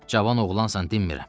Cavan oğlansan dinmirəm.